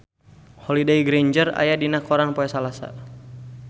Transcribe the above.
Holliday Grainger aya dina koran poe Salasa